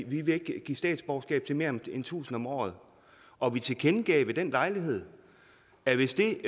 vi vil ikke give statsborgerskab til mere end tusind om året og vi tilkendegav ved den lejlighed at hvis det